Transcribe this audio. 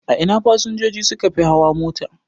A ina fasinjoji sukafi hawa mota?